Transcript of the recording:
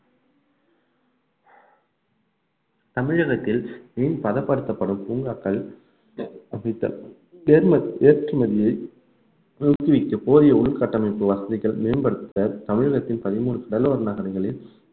தமிழகத்தில் மீன் பதப்படுத்தப்படும் பூங்காக்கள் ஏற்றுமதியை நிறுத்தி வைக்க போதிய உள்கட்டமைப்பு வசதிகள் மேம்படுத்த தமிழகத்தின் பதிமூணு நகரங்களில்